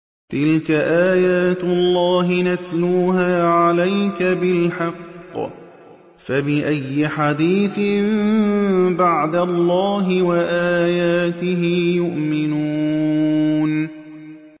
تِلْكَ آيَاتُ اللَّهِ نَتْلُوهَا عَلَيْكَ بِالْحَقِّ ۖ فَبِأَيِّ حَدِيثٍ بَعْدَ اللَّهِ وَآيَاتِهِ يُؤْمِنُونَ